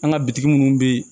An ka bitigi minnu bɛ yen